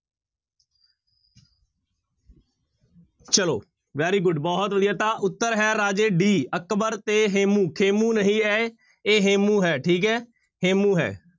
ਚਲੋ very good ਬਹੁਤ ਵਧੀਆ ਤਾਂ ਉੱਤਰ ਹੈ ਰਾਜੇ d ਅਕਬਰ ਤੇ ਹੇਮੂੰ, ਖੇਮੂੰ ਨਹੀਂ ਹੈ ਇਹ ਹੇਮੂੰ ਹੈ ਠੀਕ ਹੈ ਹੇਮੂੰ ਹੈ।